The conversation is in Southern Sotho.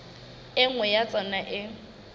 e nngwe ya tsona e